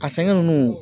A sɛgɛn nunnu